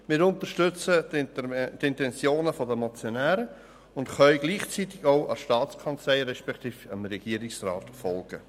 Wir unterstützen die Intentionen der Motionäre und können gleichzeitig auch der Staatskanzlei beziehungsweise dem Regierungsrat folgen.